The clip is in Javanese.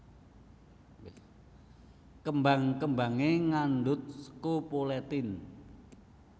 Kembang kembangé ngandhut scopoletin